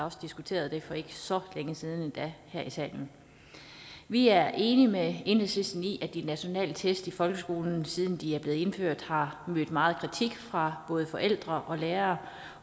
også diskuteret det for ikke så længe siden her i salen vi er enige med enhedslisten i at de nationale test i folkeskolen siden de blev indført har mødt megen kritik fra både forældre og lærere